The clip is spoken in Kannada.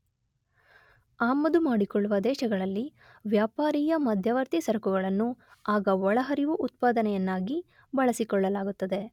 ಆಮದುಮಾಡಿಕೊಳ್ಳುವ ದೇಶಗಳಲ್ಲಿ ವ್ಯಾಪಾರೀಯ ಮಧ್ಯವರ್ತಿ ಸರಕುಗಳನ್ನು ಆಗ ಒಳಹರಿವು ಉತ್ಪಾದನೆಯನ್ನಾಗಿ ಬಳಸಿಕೊಳ್ಳಲಾಗುತ್ತದೆ.